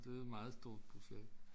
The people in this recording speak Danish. Det var et meget stort projekt